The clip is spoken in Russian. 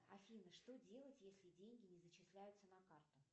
афина что делать если деньги не зачисляются на карту